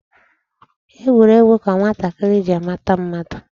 Egwuregwu ka nwatakịrị ji amata mmadụ.